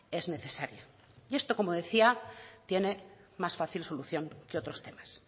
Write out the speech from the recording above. es necesaria y esto como decía tiene más fácil solución que otros temas